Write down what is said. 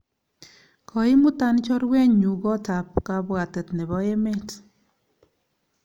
Koimutan chorwennyu kot ap kapwatet nepo emet.